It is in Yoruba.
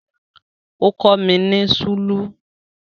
Ó kọ́ mi ní súlù